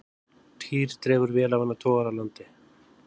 Týr dregur vélarvana togara að landi